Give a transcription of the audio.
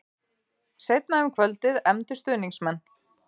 Seinna um kvöldið efndu stuðningsmenn